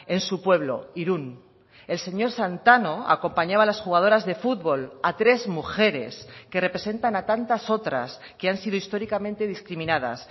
en su pueblo irun el señor santano acompañaba a las jugadoras de fútbol a tres mujeres que representan a tantas otras que han sido históricamente discriminadas